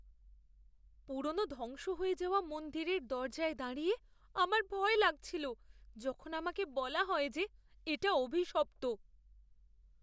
পুরনো ধ্বংস হয়ে যাওয়া মন্দিরের দরজায় দাঁড়িয়ে আমার ভয় লাগছিল যখন আমাকে বলা হয় যে এটা অভিশপ্ত।